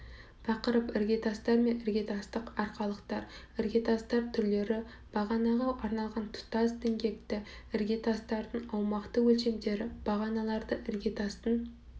тақырып іргетастар мен іргетастық арқалықтар іргетастар түрлері бағанаға арналған тұтас діңгекті іргетастардың аумақты өлшемдері бағаналарды іргетастың